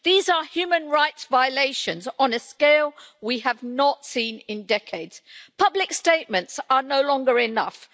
These are human rights violations on a scale we have not seen in decades. Public statements are no longer enough.